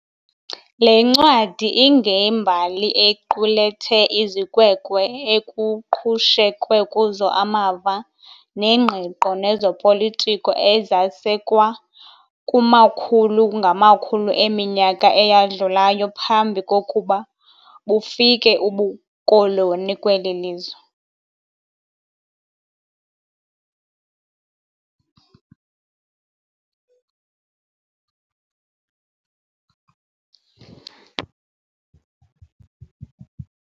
Le ncwadi ingembali equlethe izikweko ekuqhushekwe kuzo amava nengqiqo nezopolitiko, ezasekwa kumakhulu-ngamakhulu eminyaka eyadlulayo, phambi kokuba bufike ubukoloni kweli lizwe.